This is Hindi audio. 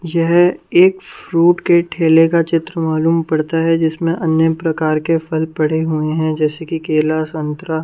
यह एक फ्रूट के ठेले का चित्र मालूम पड़ता है जिसमें अन्य प्रकार के फल पड़े हुए हैं जैसे कि केला संतरा--